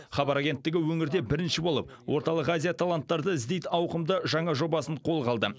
хабар агенттігі өңірде бірінші болып орталық азия таланттарды іздейді ауқымды жаңа жобасын қолға алды